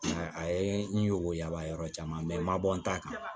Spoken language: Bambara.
Mɛ a ye n weele a b'a yɔrɔ caman n ma bɔ n ta kan